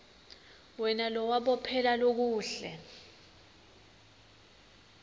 wena lowabophela lokuhle